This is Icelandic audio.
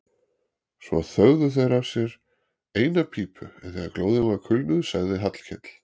Svo þögðu þeir af sér eina pípu en þegar glóðin var kulnuð sagði Hallkell